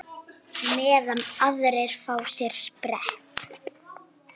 Meðan aðrir fá sér sprett?